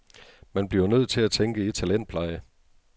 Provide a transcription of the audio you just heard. Man bliver nødt til at tænke i talentpleje.